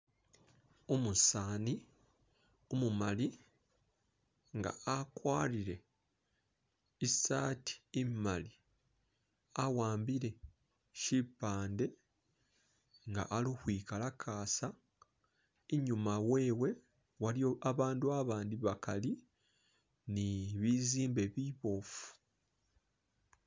Umusaani umumali nga akwarire i'sati imali awambile shipande nga ali ukhwikalakasa, inyuma wewe waliwo abandu abandi bakali ni bizimbe biboofu